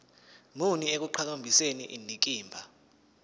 muni ekuqhakambiseni indikimba